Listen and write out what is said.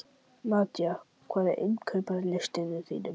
Nadia, hvað er á innkaupalistanum mínum?